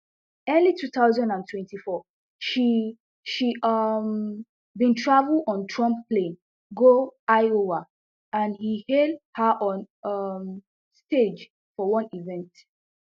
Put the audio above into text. early two thousand and twenty-four she she um bin travel on trump plane go iowa and e hail her on um stage for one event